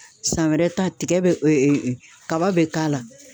San wɛrɛ ta tigɛ bɛ e e kaba be k'a la